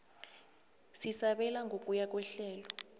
sesabelo ngokuya kwehlelo